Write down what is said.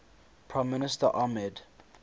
prime minister ahmed